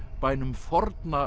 bænum